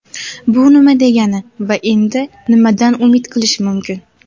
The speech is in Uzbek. Bu nima degani va endi nimadan umid qilish mumkin?.